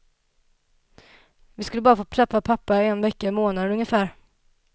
Vi skulle bara få träffa pappa en vecka i månaden ungefär.